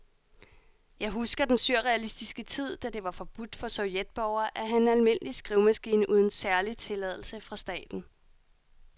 Jeg husker den surrealistiske tid, da det var forbudt for sovjetborgere at have en almindelig skrivemaskine uden særlig tilladelse fra staten.